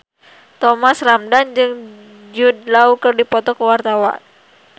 Thomas Ramdhan jeung Jude Law keur dipoto ku wartawan